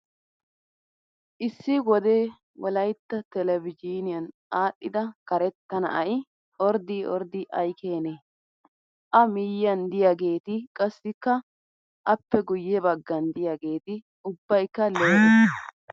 Issi wodee wolayitta telbeejiiniyan aadhdhida karetta na''ayi orddii orddi ayikeenee! A miyyiyan diyaageti qassikka appe guyye baggan diyaageeti ubbayikka lee'e.